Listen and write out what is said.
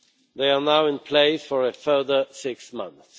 They are now in place for a further six months.